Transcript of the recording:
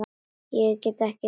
Ég get ekki lifað.